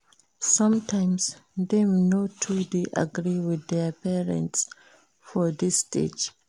Sometimes dem no too de agree with their parents for dis stage